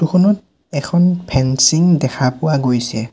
Photo খনত এখন fencing দেখা পোৱা গৈছে।